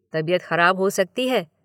तबीयत खराब हो सकती है।